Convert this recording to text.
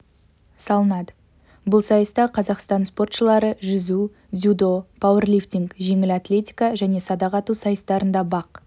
салынады бұл сайыста қазақстан спортшылары жүзу дзюдо пауэрлифтинг жеңіл атлетика және садақ ату сайыстарында бақ